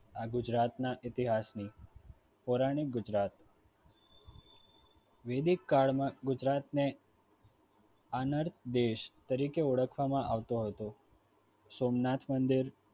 હા ગુજરાતના ઇતિહાસને પૌરાણિક ગુજરાત વૈદિક કાળમાં ગુજરાતને અનર્ક દેશ તરીકે ઓળખવામાં આવતો હતો સોમનાથ મંદિર